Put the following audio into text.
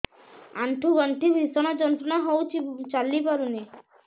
ଆଣ୍ଠୁ ଗଣ୍ଠି ଭିଷଣ ଯନ୍ତ୍ରଣା ହଉଛି ଚାଲି ପାରୁନି